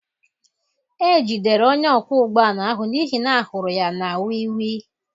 E jidere onye ọkwọ ụgbọ ala ahụ n'ihi na a hụrụ ya na wii wii